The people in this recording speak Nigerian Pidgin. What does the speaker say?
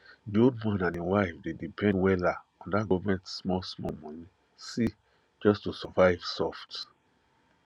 the old man and him wife dey depend wella on that government smallsmall money ssi just to survive soft